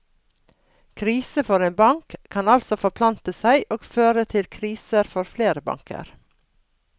Krise for en bank, kan altså forplante seg og føre til kriser for flere banker.